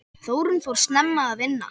Þórunn fór snemma að vinna.